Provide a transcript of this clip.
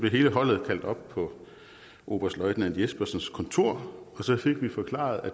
hele holdet kaldt op på oberstløjtnant jespersens kontor og så fik vi forklaret at